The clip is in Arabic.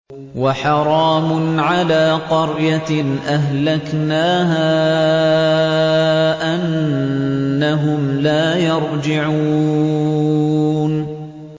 وَحَرَامٌ عَلَىٰ قَرْيَةٍ أَهْلَكْنَاهَا أَنَّهُمْ لَا يَرْجِعُونَ